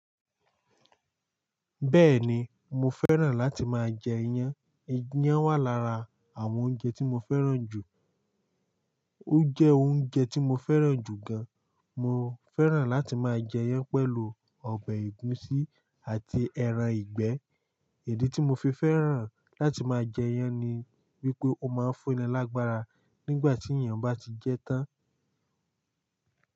Bẹ́ẹ̀ni, mo fẹ́ràn láti máa jẹ iyan. Iyán wà lára àwọn oúnjẹ tí mo fẹ́ràn jù. Ó jẹ́ oúnjẹ tí mo fẹ́ràn jù gan. Mo fẹ́ràn láti máa jẹ iyan pẹ̀lú ọbẹ̀ ẹ̀gúsí àti ẹran ìgbẹ́. Idi tí mo fi fẹ́ràn láti máa jẹ iyan ni wípé ó máa ń fún ni lágbára nígbà tí èèyàn bá ti jẹ tán.